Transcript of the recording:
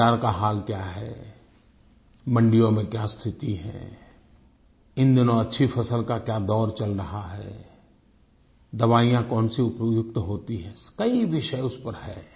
बाज़ार का हाल क्या है मंडियों में क्या स्थिति है इन दिनों अच्छी फसल का क्या दौर चल रहा है दवाइयां कौनसी उपयुक्त होती हैं कई विषय उस पर है